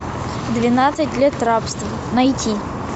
двенадцать лет рабства найти